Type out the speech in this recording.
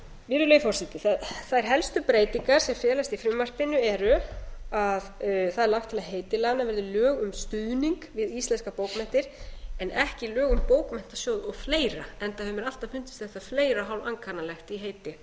virðulegi forseti þær helstu breytingar sem felast í frumvarpinu eru að það er lagt til að heiti laganna verði lög um stuðning við íslenskar bókmenntir en ekki lög um bókmenntasjóð og fleira enda hefur mér alltaf fundist þetta og fleira hálfankannalegt í heiti á